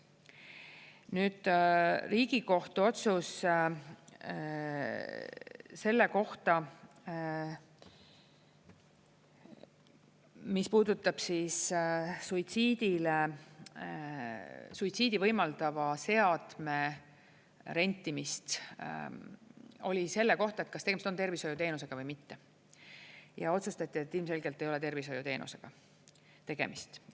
Nüüd, Riigikohtu otsus selle kohta, mis puudutab suitsiidi võimaldava seadme rentimist, oli selle kohta, kas tegemist on tervishoiuteenusega või mitte, ja otsustati, et ilmselgelt ei ole tervishoiuteenusega tegemist.